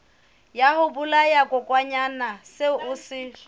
ya sebolayakokwanyana seo o se